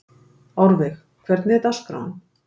Árveig, hvernig er dagskráin?